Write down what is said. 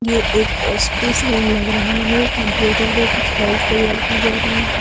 ये एक office room लग रहा है कंप्यूटर पर कुछ फाइल्स तैयार की जा रही है।